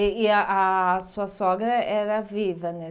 E e a ah sua sogra era viva, né?